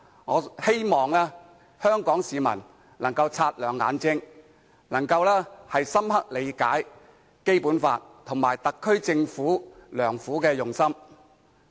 我希望香港市民能夠擦亮眼睛，深入理解《基本法》及特區政府的用心良苦。